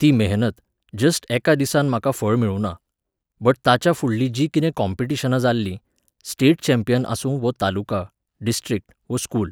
ती मेहनत, जस्ट एका दिसान म्हाका फळ मेळुना, बट ताच्या फुडलीं जी कितें कॉंपिटिशनां जाल्लीं, स्टेट चँपियन आसूं वो तालुका, डिस्ट्रिक्ट, वो स्कूल